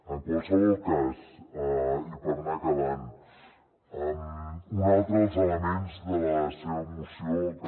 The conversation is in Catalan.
en qualsevol cas i per anar acabant un altre dels elements de la seva moció que